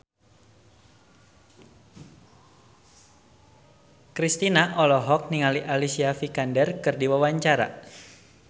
Kristina olohok ningali Alicia Vikander keur diwawancara